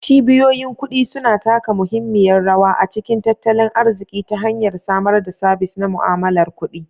Cibiyoyin kudi suna taka muhimmiyar rawa a cikin tattalin arziki ta hanyar samar da sabis na mu'amalar kuɗi.